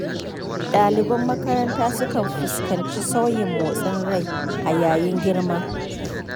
Ɗaliban makaranta sukan fuskanci sauyin motsin rai a yayin girma.